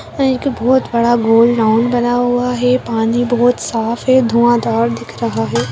यहां एक बहुत बड़ा गोल राउंड बना हुआ है पानी बहुत साफ है धुआँ धार दिख रहा है।